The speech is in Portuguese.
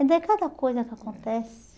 Então é cada coisa que acontece.